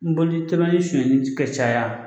nboli tɛlimanin sonyɛni kɛ caya.